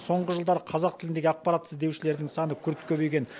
соңғы жылдары қазақ тіліндегі ақпарат іздеушілердің саны күрт көбейген